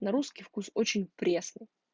на русский вкус очень пресно